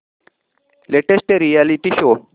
latest reality show